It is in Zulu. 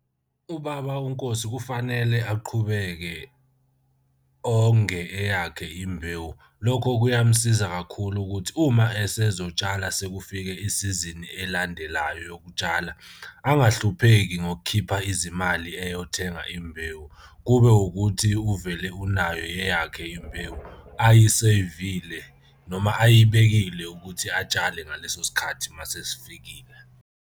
Ubaba uNkosi kufanele aqhubeke onge eyakhe imbewu. Lokho kuyamusiza kakhulu ukuthi uma esezotshala sekufike isizini elandelayo yokutshala angahlupheki ngokukhipha izimali eyothenga imbewu. Kube ukuthi uvele unayo eyakhe imbewu ayisevile noma ayibekile ukuthi atshale ngaleso sikhathi uma sesifikile.